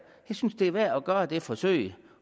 jeg synes det er værd at gøre det forsøg